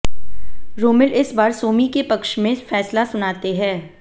रोमिल इस बार सोमी के पक्ष में फैसला सुनाते हैं